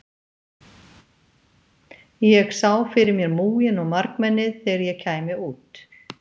Ég sá fyrir mér múginn og margmennið þegar ég kæmi út.